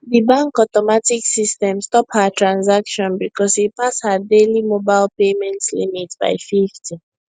di bank automatic system stop her transaction because e pass her daily mobile payment limit by 50